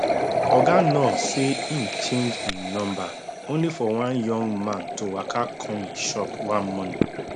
oga nuur say im change im number only for one young man to waka come im shop one morning